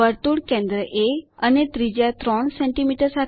વર્તુળ કેન્દ્ર એ અને ત્રિજ્યા 3 સેમી